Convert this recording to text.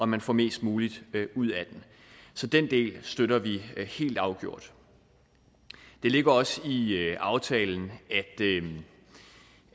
man får mest muligt ud af den så den del støtter vi helt afgjort det ligger også i aftalen